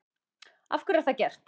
Af hverju er það gert?